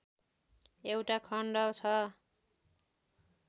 एउटा खण्ड छ